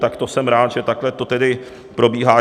Tak to jsem rád, že takhle to tedy probíhá.